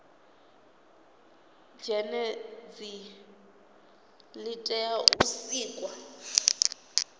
zhenedzi li tea u sikwa